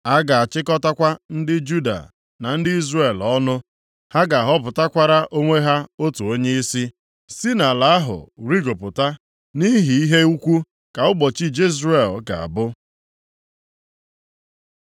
A ga-achịkọtakwa ndị Juda na ndị Izrel ọnụ. Ha ga-ahọpụtakwara onwe ha otu onyeisi, si nʼala ahụ rigopụta, nʼihi ihe ukwu ka ụbọchị Jezril ga-abụ.